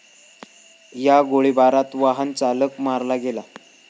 या गोळीबारात वाहनचालक मारला गेला.